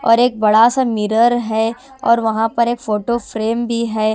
और एक बड़ासा मिरर है और वहां पर एक फोटो फ्रेम भी हैं।